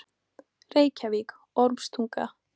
Reykjavík: Ormstunga.